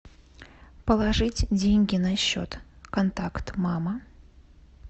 положить деньги на счет контакт мама